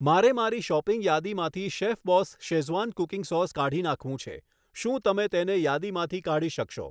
મારે મારી શૉપિંગ યાદીમાંથી શૅફબાૅસ શેઝવાન કૂકિંગ સાૅસ કાઢી નાખવું છે શું તમે તેને યાદીમાંથી કાઢી શકશો